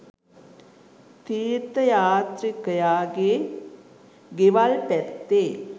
තීර්ථ යාත්‍රිකයා ගේ ගෙවල් පැත්තේ